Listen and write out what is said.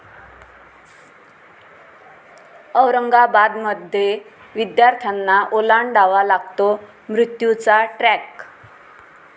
औरंगाबादमध्ये विद्यार्थ्यांना ओलांडावा लागतो मृत्यूचा ट्रॅक